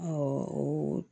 o